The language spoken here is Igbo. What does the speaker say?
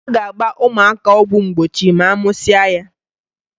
A ga-agba ụmụaka ọgwụ mgbochi ma a mụsịa ya.